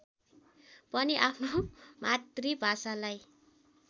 पनि आफ्नो मातृभाषालाई